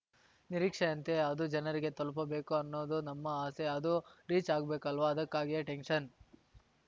ನಿರೀಕ್ಷೆಯಂತೆ ಅದು ಜನರಿಗೆ ತಲುಪಬೇಕು ಅನ್ನೋದು ನಮ್ಮ ಆಸೆ ಅದು ರಿಚ್‌ ಆಗ್ಬೇಕಲ್ವಾ ಅದಕ್ಕಾಗಿಯೇ ಟೆನ್ಶನ್